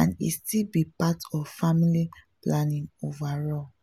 and e still be part of family planning overall.